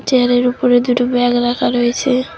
চেয়ারের উপরে দুটো ব্যাগ রাখা রয়েছে।